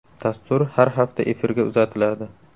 Dastur har hafta efirga uzatiladi.